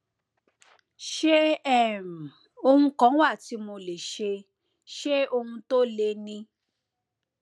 ṣé um ohun kan wà tí mo lè ṣe ṣé ohun tó le ni